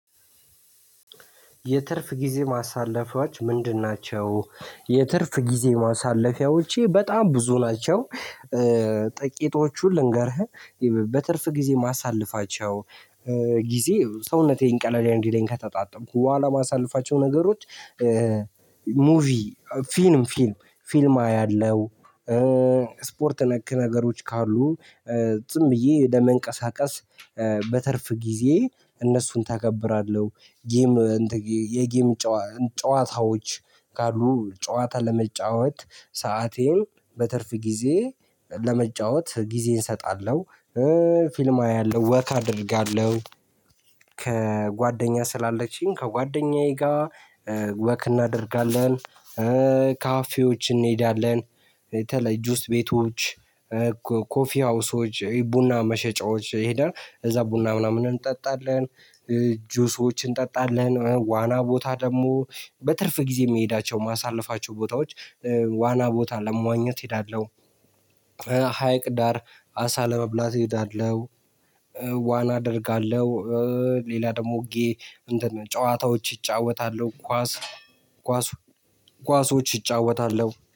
የትርፍ ጊዜ ማሳለፊያዎች ምንድን ናቸው? የትርፍ ጊዜ ማሳለፊያዎቼ በጣም ብዙ ናቸው። ጥቂቶቹን ልንገርህ። በትርፍ ጊዜ የማሳለፋቸው ጊዜ ሰውነቴን ቀለልኝ እንዲለኝ ከተጣጠብኩ በኋላ የማሳልፋቸው ነገሮች። ሙቪ ፊልም ፊልም ፊልም አያለሁ፣ ስፖርት ነክ ነገሮች ካሉ ዝም ብዬ ለመንቀሳቀስ። በትርፍ ጊዜዬ እነሱን ተገብራለሁ፣ ጌም የጌም ጨዋታዎች ካሉ ጨዋታ ለመጫወት ሰአቴን በትርፍ ጊዜዬ ለመጫወት ጊዜን እሰጣለሁ። ፊልም አያለሁ፣ ወክ አደርጋለሁ፣ ከጓደኛ ስላለችኝ ከጓደኛዬ ጋር ወክ እናደርጋለን። ካፌዎች እንሄዳለን በተለይ ጁስ ቤቶች ኮፊ ሀውሶች ቡና መሸጫዎች ሄደን እዛ ቡና ምናምን እንጠጣለን፣ ጁሶችን እንጠጣለን ዋና ቦታ ደግሞ በትርፍ ጊዜ የምሄዳቸው ማሳለፋቸው ቦታዎች። ዋና ቦታ ለመዋኘት እሄዳለሁ፣ ሀይቅ ዳር አሳ ለመብላት እሄዳለሁ፣ ዋና አደርጋለሁ። ሌላ ደግሞ ጌ እንትን ጨዋታዎች እጫወታለሁ፣ ኳስ ኳስ ኳሶች ይጫወታለሁ፣